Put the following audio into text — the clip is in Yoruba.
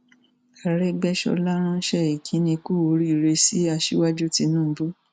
àrògbéṣọlá ránṣẹ ìkíní kù oríire sí aṣíwájú tìǹbù